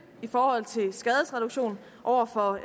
i forhold til skadesreduktion over for